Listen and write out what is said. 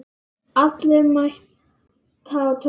Allir mæta á Torginu